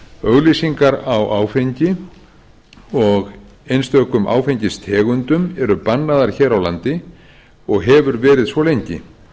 auglýsingar á áfengi og einstökum áfengistegundum eru bannaðar hér á landi og hefur verið svo lengi